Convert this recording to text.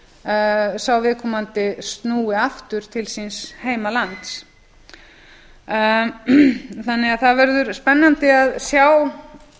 ef sá viðkomandi snúi aftur til síns heimalands það verður því spennandi að sjá